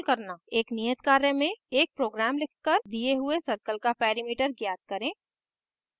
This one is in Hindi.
एक नियत कार्य में एक program लिखकर दिए हुए circle का perimeter perimeter ज्ञात करें